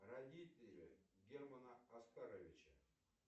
родители германа оскаровича